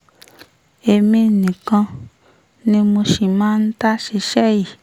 èmi nìkan ni mo sì máa ń dá ṣiṣẹ́ yìí